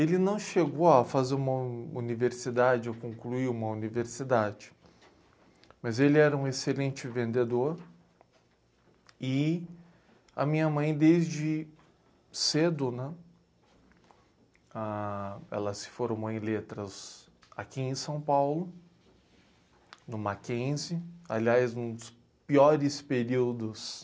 Ele não chegou a fazer uma universidade ou concluir uma universidade, mas ele era um excelente vendedor e a minha mãe, desde cedo, né? Ah, ela se formou em letras aqui em São Paulo, no Mackenzie, aliás, num dos piores períodos